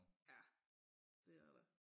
Ja det er der